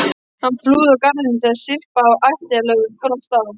Hann flúði úr garðinum þegar syrpa af ættjarðarlögum brast á.